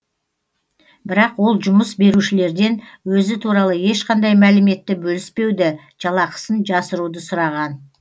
бірақ ол жұмыс берушілерден өзі туралы ешқандай мәліметті бөліспеуді жалақысын жасыруды сұраған